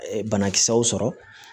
Banakisɛw sɔrɔ